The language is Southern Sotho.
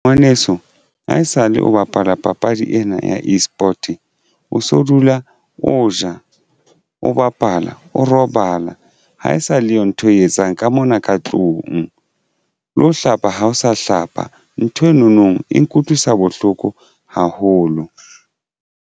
Ngwaneso ha esale o bapala papadi ena ya eSport o so dula o ja, o bapala, o robala ha e sa leyo ntho eo etsang ka mona ka tlung le ho hlapa ha o sa hlapa nthwe nonong e nkutlwisa bohloko haholo.